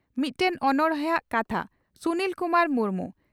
ᱢᱤᱫᱴᱮᱱ ᱚᱱᱚᱬᱦᱮᱼᱟᱜ ᱠᱟᱛᱷᱟ (ᱥᱩᱱᱤᱞ ᱠᱩᱢᱟᱨ ᱢᱩᱨᱢᱩ)